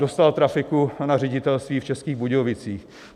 Dostal trafiku na ředitelství v Českých Budějovicích.